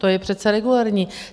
To je přece regulérní.